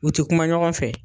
U tɛ kuma ɲɔgɔn fɛ.